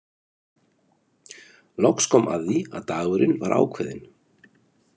Loks kom að því að dagurinn var ákveðinn.